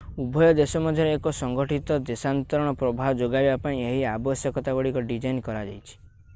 ଉଭୟ ଦେଶ ମଧ୍ୟରେ ଏକ ସଂଗଠିତ ଦେଶାନ୍ତରଣ ପ୍ରବାହ ଯୋଗାଇବା ପାଇଁ ଏହି ଆବଶ୍ୟକତା ଗୁଡିକ ଡିଜାଇନ୍ କରାଯାଇଛି